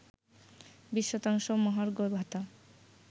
২০ শতাংশ মহার্ঘভাতা